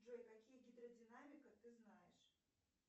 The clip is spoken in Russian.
джой какие гидродинамика ты знаешь